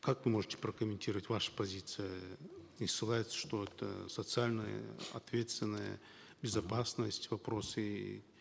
как вы можете прокомментировать ваша позиция э не ссылайтесь что это социальная ответственная безопасность вопросы